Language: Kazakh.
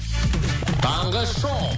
таңғы шоу